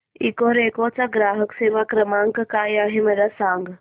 Ecoreco चा ग्राहक सेवा क्रमांक काय आहे मला सांग